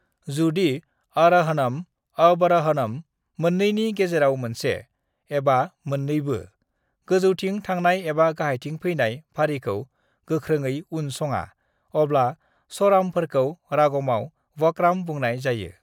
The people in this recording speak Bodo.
"जुदि आर'हणम, आवर'हणम मोननैनि गेजेराव मोनसे, एबा मोननैबो, गोजौथिं थांनाय एबा गाहायथिं फैनाय फारिखौ गोख्रोङै उन सङा, अब्ला स्वारामफोरखौ रागमाव वक्राम बुंनाय जायो।"